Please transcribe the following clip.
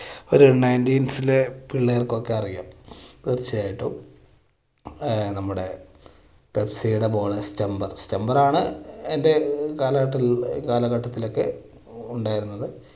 ഒരു nineties ലെ പിള്ളേർക്കൊക്കെ അറിയാം തീർച്ചയായിട്ടും ആ നമ്മുടെ Pepsi ടെ ball ആണ് stumper stumper ആണ് എൻറെ കാലഘട്ട~കാലഘട്ടത്തിൽ ഒക്കെ ഉണ്ടായിരുന്നത്.